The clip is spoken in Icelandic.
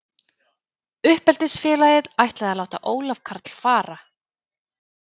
Uppeldisfélagið ætlaði að láta Ólaf Karl fara.